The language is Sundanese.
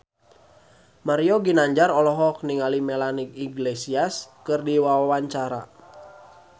Mario Ginanjar olohok ningali Melanie Iglesias keur diwawancara